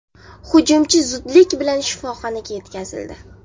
Hujumchi zudlik bilan shifoxonaga yetkazildi.